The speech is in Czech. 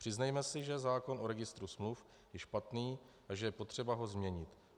Přiznejme si, že zákon o registru smluv je špatný a že je potřeba ho změnit.